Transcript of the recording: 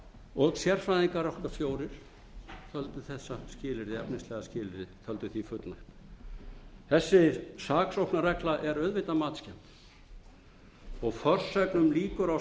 ákæra sérfræðingar okkar fjórir töldu þessu efnislega skilyrði fullnægt þessi saksóknarregla er auðvitað matskennd og forsögn um líkur á